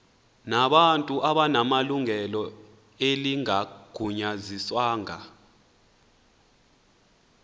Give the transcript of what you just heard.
nabantu abanelungelo elingagunyaziswanga